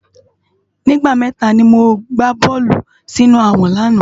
Nigbá mètá ni mó gbá bòlú si inú àwòn làná